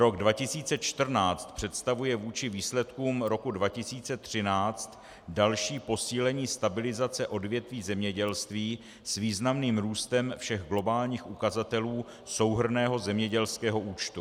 Rok 2014 představuje vůči výsledkům roku 2013 další posílení stabilizace odvětví zemědělství s významným růstem všech globálních ukazatelů souhrnného zemědělského účtu.